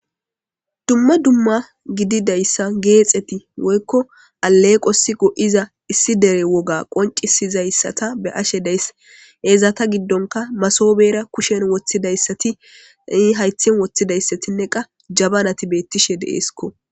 dumma dumma gididayssa geexeti woykko aleeqosi go'iza issi dere woga qoncisizayssatta be'ashshe days ezata giddonkka masobera kushshen woththidayssati hayththen woththidayssatinne qa jabanati beetiishshe de'essikko